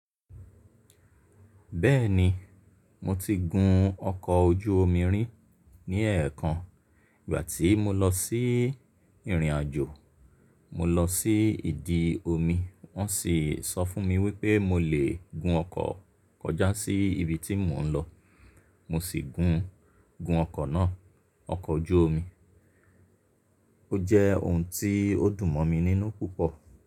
Bẹ́ẹ̀ni, mo ti gun ọkọ̀ ojú omi rí ní ẹ̀ẹ̀kan. Ìgbà tí mo lọ sí ìrìnàjò, mo lọ sí ìdi omi. Wọ́n sì sọ fún mi wípé mo lè gun ọkọ̀ kọjá sí ibi tí mò ń lọ. Mo sì gun, gun ọkọ̀ náà, ọkọ̀ ojú omi. Ó jẹ́ ohun tí ó dùn mọ́ mi nínú púpọ̀.